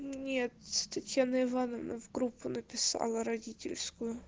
нет татьяна ивановна в группу написала родительскую